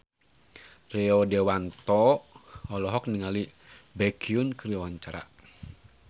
Rio Dewanto olohok ningali Baekhyun keur diwawancara